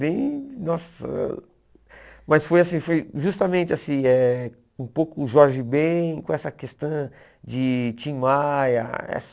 Bem... Nossa... Mas foi assim, foi justamente assim, eh um pouco o Jorge Bem com essa questão de Tim Maia. Essa